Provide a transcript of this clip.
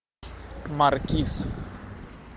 маркиз